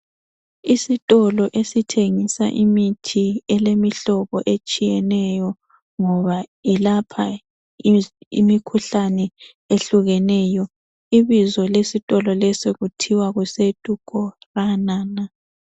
Isitolo esithengisa imithi elemihlobo etshiyeneyo. Ngoba ilapha imikhuhlane ehlukeneyo. Ibizo lesitolo leso kuthiwa kuse Dukorana na